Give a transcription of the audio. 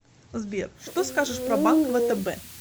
сбер что скажешь про банк втб